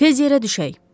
Tez yerə düşək!